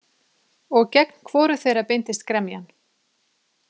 Og gegn hvoru þeirra beindist gremjan?